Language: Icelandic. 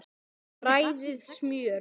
Hvað gengur mönnum til?